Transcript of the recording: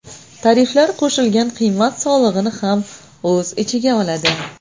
Tariflar qo‘shilgan qiymat solig‘ini ham o‘z ichiga oladi.